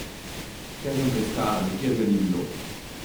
Vse sem preiskala, nikjer ga ni bilo.